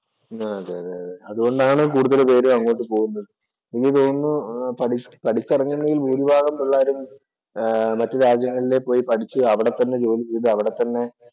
അതെയതെ അതെ, അതുകൊണ്ടാണ് കൂടുതൽ പേരും അങ്ങോട്ട് പോകുന്നത്. എനിക്ക് തോന്നുന്നു പഠി പഠിച്ചിറങ്ങുന്നതില്‍ ഭൂരിഭാഗം പിള്ളേരും ആഹ് മറ്റു രാജ്യങ്ങളിൽ പോയി പഠിച്ചു അവിടെത്തന്നെ ജോലി ചെയ്ത് അവിടെത്തന്നെ